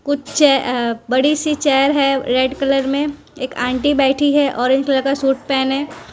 कुछ चे अ बड़ी सी चेयर है रेड कलर में एक आंटी बैठी है ऑरेंज कलर का सूट पहने --